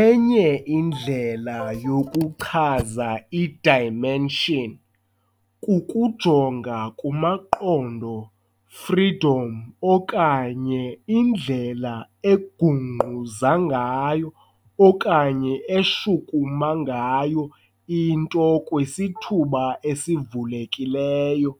Enye indlela yokuchaza i-dimension kukujonga kumaqondo freedom okanye indlela egungquza okanye eshukuma ngayo into kwisithuba esivulekileyo.